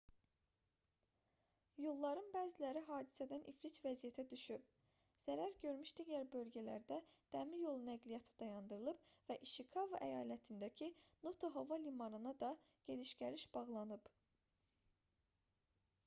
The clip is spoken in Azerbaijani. yolların bəziləri hadisədən iflic vəziyyətə düşüb. zərər görmüş digər bölgələrdə dəmiryolu nəqliyyatı dayandırılıb və i̇şikava əyalətindəki noto hava limanına da gediş-gəliş bağlanıb